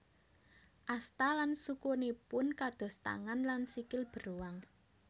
Asta lan sukunipun kados tangan lan sikil beruang